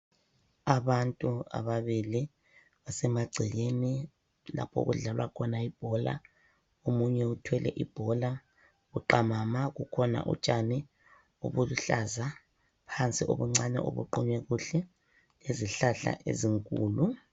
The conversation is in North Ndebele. Abantu ababili basemagcekeni lapho okudlalwa khona ibhola omunye uthwele ibhola buqamama kukhona utshani obuluhlaza phansi obuncane obuqunywe kuhle lezihlahla ezinkulu.